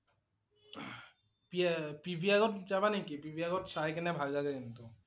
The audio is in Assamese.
P~PVR ত যাবা নেকি? PVR ত চাই কেনে ভাল লগে কিন্তু